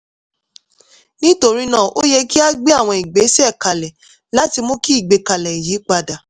nítorí náà ó yẹ kí a gbé àwọn ìgbésẹ̀ kalẹ̀ láti mú kí ìgbẹ́kẹ̀lé yìí padà